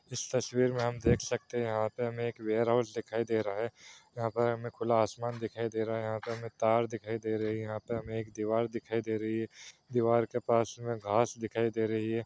इस तस्वीर मे हम देख सकते है यहाँ पर हमे एक वेयरहाउस दिखाई दे रहा है यहाँ पर हमे खुला आसमान दिखाई दे रहा है यहाँ पर हमे तार है यहाँ पर हमे एक दीवार दिखाई दे रही है दीवार के पास मे घास दिखाई दे रही है।